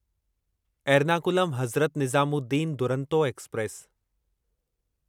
Ernakulam Hazrat Nizamuddin Duronto express